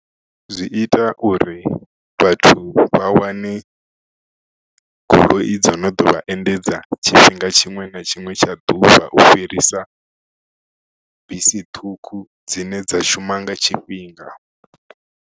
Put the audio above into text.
Zwi ita uri vhathu vha wane goloi dzo no ḓo vha endedza tshifhinga tshiṅwe na tshiṅwe tsha ḓuvha u fhirisa bisi ṱhukhu dzine dza shuma nga tshifhinga.